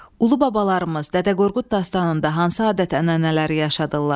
Ulubabalarımız Dədə Qorqud dastanında hansı adət-ənənələri yaşadılar?